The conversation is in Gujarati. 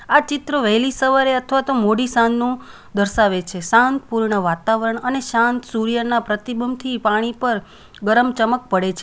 આ ચિત્રો વહેલી સવારે અથવા તો મોડી સાંજનું દર્શાવે છે શાંત પૂર્ણ વાતાવરણ અને શાંત સૂર્યના પ્રતિબંધ થી પાણી પર ગરમ ચમક પડે છે.